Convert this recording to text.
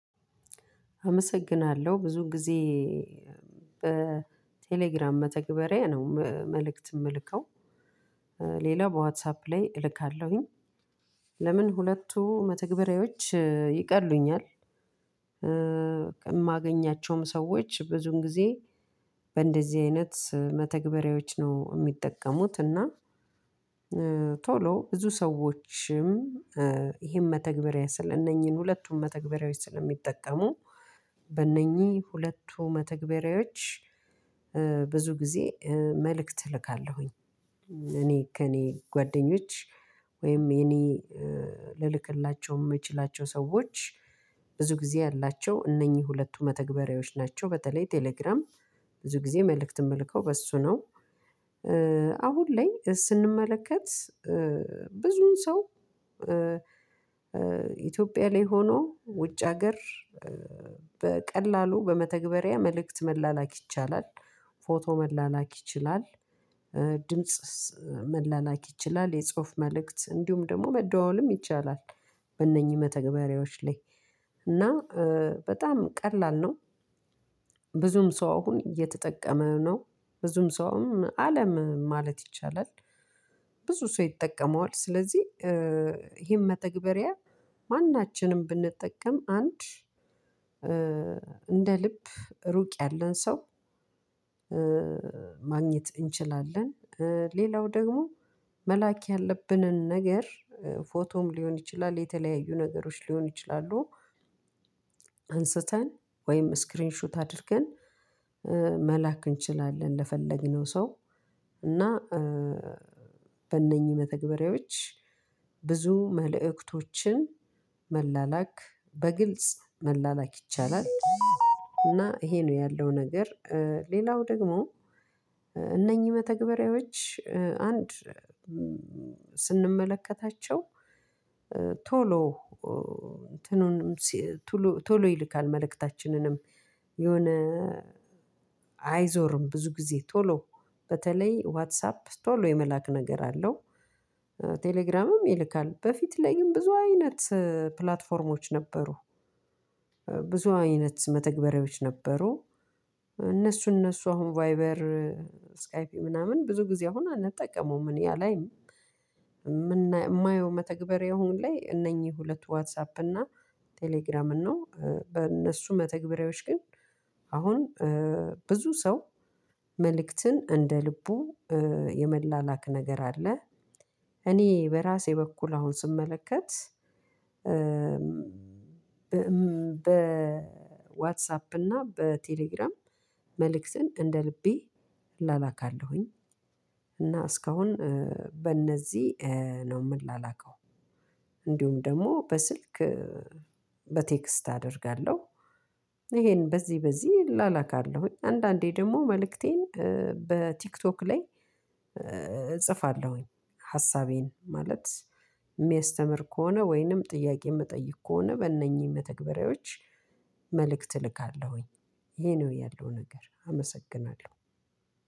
አመሰግናለሁ ብዙ ጊዜ በቴሌግራም መተግበሪያ ነው መልእክት ምልከው ሌላው በዋትሳፕ ላይ እልካለሁኝ። ለምን ሁለቱ መተግበሪያዎች ይቀሉኛል? የማገኛቸውም ሰዎች ብዙን ጊዜ በእንደዚህ አይነት መተግበሪያዎች ነው ሚጠቀሙት እና። ቶሎ ብዙ ሰዎችም ይሄን መተግበሪያ ስለ እነኚህን ሁለቱም መተግበሪያዎች ስለሚጠቀሙ። በእነኚህ ሁለቱ መተግበሪያዎች ብዙ ጊዜ መልእክት እልካለሁኝ። እኔ ከእኔ ጓደኞች ወይም የኔ ልልክላቸው ምችላቸው ሰዎች ብዙ ጊዜ ያላቸው እነኚህ ሁለቱ መተግበሪያዎች ናቸው። በተለይ ቴሌግራም ብዙ ጊዜ መልእክት ምልከው በሱ ነው። አሁን ላይ ስንመለከት ብዙ ሰው ኢትዮጵያ ላይ ሆኖ ውጭ ሀገር። በመተግበሪያ መልእክት መላላክ ይቻላል። ፎቶ መላላክ ይችላል። ድምጽ መላላክ ይችላል የጽሁፍ መልእክት እንዲሁም ደሞ መደዋወልም ይቻላል። በእነኚህ መተግበሪያዎች ላይ እና በጣም ቀላል ነው። ብዙም ሰው አሁን እየተጠቀመ ነው ብዙም ሰውም አለም ማለት ይቻላል። ብዙ ሰው ይጠቀመዋል ስለዚህ ይሄን መተግበሪያ ማናችንም ብንጠቀም አንድ እንደልብ ሩቅ ያለን ሰው ማግኘት እንችላለን። ሌላው ደግሞ መላክ ያለብንን ነገር ፎቶም ሊሆን ይችላል የተለያዩ ነገሮች ሊሆን ይችላሉ። አንስተን ወይም ስክሪንሹት አድርገን መላክ እንችላለን ለፈለግነው ሰው። እና በእነኚህ መተግበሪያዎች ብዙ መልእክቶችን መላላክ በግልጽ መላላክ ይቻላል። እና ይሄ ነው ያለው ነገር። ሌላው ደግሞ እነኚህ መተግበሪያዎች አንድ ስንመለከታቸው ቶሎ እንትኑንም ቱሎ ቶሎ ይልካል መልእክታችንንም የሆነ አይዞርም ብዙ ጊዜ ቶሎ በተለይ ዋትሳፕ ቶሎ የመላክ ነገር አለው። ቴሌግራምም ይልካል በፊት ላይ ግን ብዙ አይነት ፕላትፎርሞች ነበሩ። ብዙ አይነት መተግበሪያዎች ነበሩ። እነሱ እነሱ አሁን ቫይበር ስካይፒ ምናምን ብዙ ጊዜ አሁን አንጠቀመውም እኔ አላይም። ማየው መተግበሪያ አሁን ላይ እነኚህ ሁለቱ ዋትሳፕ እና ቴሌግራምን ነው። በእነሱ መተግበሪያዎች ግን አሁን ብዙ ሰው መልእክትን እንደ ልቡ የመላላክ ነገር አለ። እኔ በራሴ በኩል አሁን ስመለከት በዋትሳፕ እና በቴሌግራም መልእክትን እንደልቤ እላላካለሁኝ። እና እስካሁን በእነዚህ ነው ምላላከው። እንዲሁም ደሞ በስልክ በቴክስት አደርጋለሁ። ይሄን በዚህ በዚህ እላላካለሁኝ አንዳንዴ ደሞ መልእክቴን በቲክቶክ ላይ እጽፋለሁኝ። ሀሳቤን ሚያስተምር ከሆነ ወይንም ጥያቄ ምጠይቅ ከሆነ በእነኚህ መተግበሪያዎች መልእክት እልካለሁኝ። ይሄ ነው ያለው ነገር አመሰግናለሁ።